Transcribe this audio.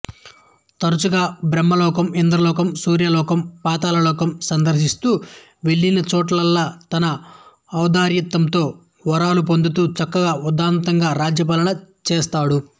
తరుచుగా బ్రహ్మలోకం ఇంద్రలోకం సూర్యలోకం పాతాళలోకం సందర్శిస్తూ వెళ్లినచోటల్లా తన ఔదార్యంతో వరాలు పొందుతూ చక్కగా ఉదాత్తంగా రాజ్యపాలన చేస్తాడు